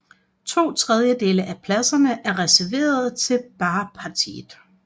To tredjedele af pladserne er reserverede til Baathpartiet